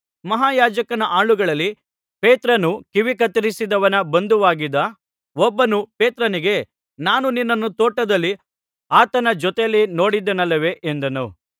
ಮಹಾಯಾಜಕನ ಆಳುಗಳಲ್ಲಿ ಪೇತ್ರನು ಕಿವಿ ಕತ್ತರಿಸಿದವನ ಬಂಧುವಾಗಿದ್ದ ಒಬ್ಬನು ಪೇತ್ರನಿಗೆ ನಾನು ನಿನ್ನನ್ನು ತೋಟದಲ್ಲಿ ಆತನ ಜೊತೆಯಲ್ಲಿ ನೋಡಿದೆನಲ್ಲವೇ ಎಂದನು